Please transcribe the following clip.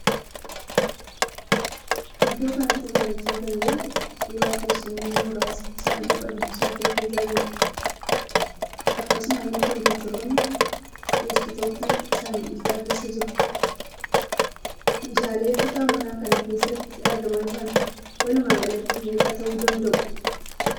Iddoo kanatti mul'achaa kan jiru suuraa teessumoonni muraasni saanduqa dubbisaa keessa jiraniiidha. Akkasumallee 'kompiteeroonni deskiitooppii' saanduqicha keessa jiru. Meeshaaleen kutaa manaa kana keessatti argamaa jiran walumaa galatti meeqa ta'uu danda'u?